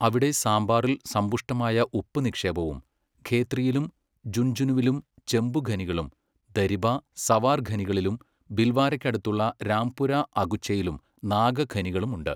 അവിടെ സാമ്പാറിൽ സമ്പുഷ്ടമായ ഉപ്പ് നിക്ഷേപവും ഖേത്രിയിലും ജുൻജുനുവിലും ചെമ്പുഖനികളും ദരിബ, സവാർ ഖനികളിലും ബിൽവാരയ്ക്കടുത്തുള്ള രാംപുര അഗുച്ചയിലും നാകഖനികളുമുണ്ട്.